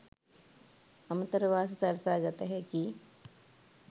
අමතර වාසි සලසා ගත හැකි